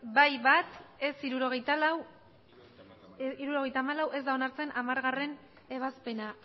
bai bat ez hirurogeita hamalau ez da onartzen hamargarrena ebazpena